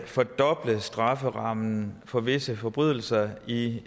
fordoble strafferammen for visse forbrydelser i